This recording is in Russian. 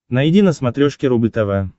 найди на смотрешке рубль тв